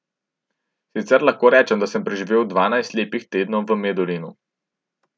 Sicer lahko rečem, da sem preživel dvanajst lepih tednov v Medulinu.